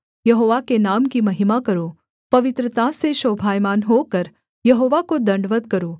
यहोवा के नाम की महिमा करो पवित्रता से शोभायमान होकर यहोवा को दण्डवत् करो